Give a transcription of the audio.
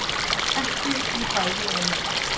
Ekki við bæði í einu